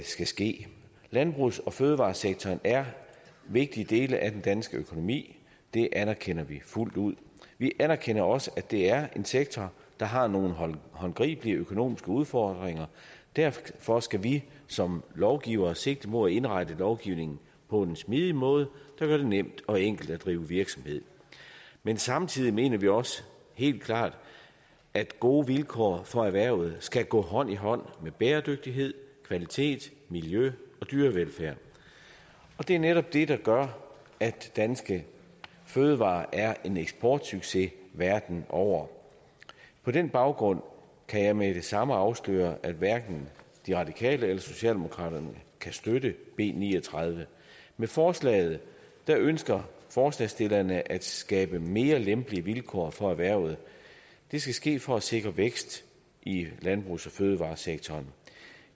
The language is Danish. skal ske landbrugs og fødevaresektoren er en vigtig del af den danske økonomi det anerkender vi fuldt ud vi anerkender også at det er en sektor der har nogle håndgribelige økonomiske udfordringer derfor skal vi som lovgivere sigte mod at indrette lovgivningen på en smidig måde der gør det nemt og enkelt at drive virksomhed men samtidig mener vi også helt klart at gode vilkår for erhvervet skal gå hånd i hånd med bæredygtighed kvalitet miljø og dyrevelfærd og det er netop det der gør at danske fødevarer er en eksportsucces verden over på den baggrund kan jeg med det samme afsløre at hverken de radikale eller socialdemokraterne kan støtte b ni og tredive med forslaget ønsker forslagsstillerne at skabe mere lempelige vilkår for erhvervet det skal ske for at sikre vækst i landbrugs og fødevaresektoren